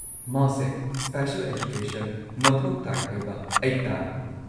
ꯃꯥꯁꯦ special education ꯃꯊꯧ ꯇꯥꯏ ꯍꯥꯏꯕ ꯑꯩ ꯇꯥꯔꯦ꯫